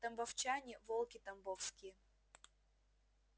тамбовчане волки тамбовские